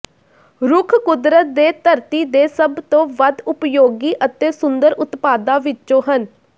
ਰੁੱਖ ਕੁਦਰਤ ਦੇ ਧਰਤੀ ਦੇ ਸਭ ਤੋਂ ਵੱਧ ਉਪਯੋਗੀ ਅਤੇ ਸੁੰਦਰ ਉਤਪਾਦਾਂ ਵਿੱਚੋਂ ਹਨ